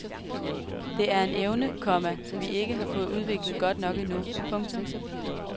Det er en evne, komma vi ikke har fået udviklet godt nok endnu. punktum